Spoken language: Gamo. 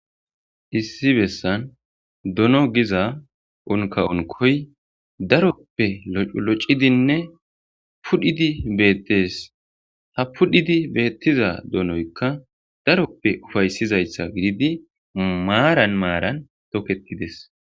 issi bessan dono giza unka unkoy daroppe loculocidinne pudhidi beettes ha pudhidi beettiza donoykka daroppe ufaysizayssa gididi maaran maaran toketides